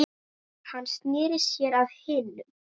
Hann sneri sér að hinum.